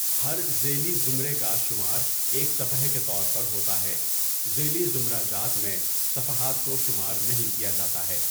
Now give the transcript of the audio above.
ہر ذیلی زمرہ کا شمار ایک صفحہ کے طور پر ہوتا ہے، ذیلی زمرہ جات میں صفحات کو شمار نہیں کیا جاتا ہے۔